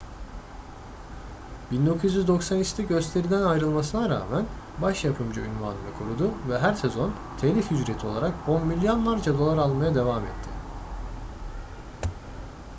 1993'te gösteriden ayrılmasına rağmen baş yapımcı unvanını korudu ve her sezon telif ücreti olarak on milyonlarca dolar almaya devam etti